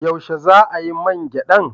Yaushe za a yi man gyadan?